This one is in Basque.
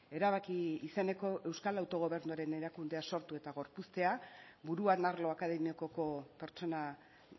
erabaki izeneko euskal autogobernuaren erakundea sortu eta gorpuztea buruan arlo akademikoko pertsona